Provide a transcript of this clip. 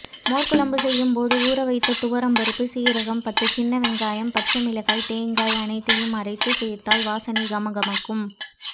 மோர்க்குழம்பு செய்யும்போது ஊறவைத்த துவரம்பருப்பு சீரகம் பத்து சின்னவெங்காயம் பச்சைமிளகாய் தேங்காய் அனைத்தையும் அரைத்து சேர்த்தால் வாசனை கமகமக்கும்